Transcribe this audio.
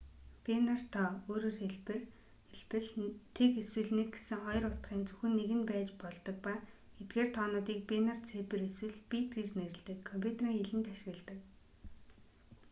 бинар тоо ө.х. 0 эсвэл 1 гэсэн хоёр утгын зөвхөн нэг нь байж болдог ба эдгээр тоонуудыг бинар цифр эсвэл бит гэж нэрлэдэг компьютерийн хэлэнд ашигладаг